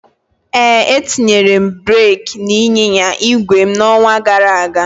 Ee, etinyere m breeki n'ịnyịnya igwe m n'ọnwa gara aga